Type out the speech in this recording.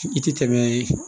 I ti tɛmɛ